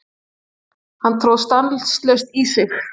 Hann tróð stanslaust í sig.